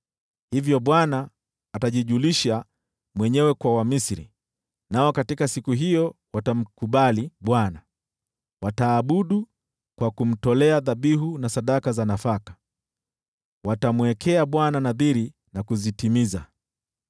Hivyo Bwana atajijulisha mwenyewe kwa Wamisri, nao katika siku hiyo watamkubali Bwana . Wataabudu kwa kumtolea dhabihu na sadaka za nafaka, watamwekea Bwana nadhiri na kuzitimiza.